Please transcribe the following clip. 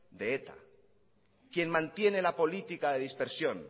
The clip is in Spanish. de eta quien mantiene la política de dispersión